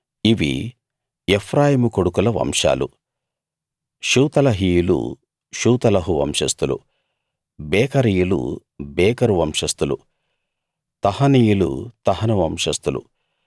ఇవి ఎఫ్రాయిము కొడుకుల వంశాలుషూతలహీయులు షూతలహు వంశస్థులు బేకరీయులు బేకరు వంశస్థులు తహనీయులు తహను వంశస్థులు